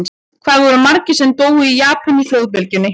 Hvað voru margir sem dóu í Japan í flóðbylgjunni?